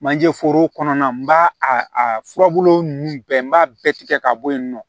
Manje foro kɔnɔna na n b'a a a furabulu nunnu bɛɛ n b'a bɛɛ tigɛ ka bɔ yen nɔ